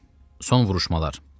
Son vuruşmalar.